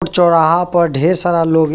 उ चौराहा पर ढ़ेर सारा लोग ये।